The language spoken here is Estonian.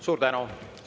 Suur tänu!